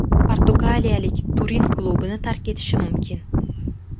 Portugaliyalik Turin klubini tark etishi mumkin.